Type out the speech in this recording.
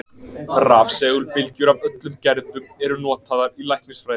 Rafsegulbylgjur af öllum gerðum eru notaðar í læknisfræði.